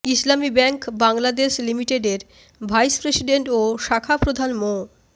ইসলামী bank Bangladesh লিমিটেডের vice president ও শাখাপ্রধান মো